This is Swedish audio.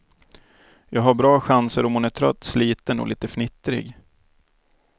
Jag har bra chanser om hon är trött, sliten och lite fnittrig.